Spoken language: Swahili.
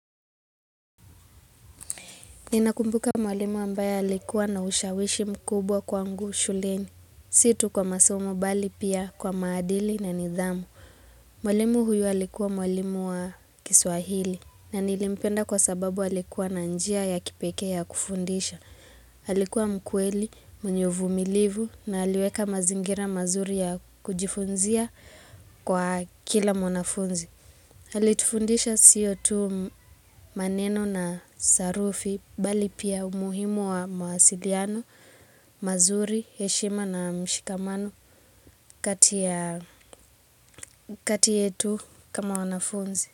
Ninakumbuka mwalimu ambaye alikuwa na ushawishi mkubwa kwangu shuleni. Si tu kwa masomo bali pia kwa maadili na nidhamu. Mwalimu huyu alikuwa mwalimu wa kiswahili. Na nilimpenda kwa sababu alikuwa na njia ya kipekee ya kufundisha. Alikuwa mkweli, mwenye uvumilivu na aliweka mazingira mazuri ya kujifunzia kwa kila mwanafunzi. Alitufundisha sio tu maneno na sarufi bali pia umuhimu wa mawasiliano, mazuri, heshima na mshikamano kati yetu kama wanafunzi.